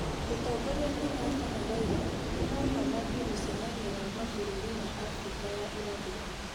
Mũtongorĩa Kenyatta na Raila nĩmaũma mathĩe mũcemanĩo wa mabũrũri ma Afrika ya ĩrathĩro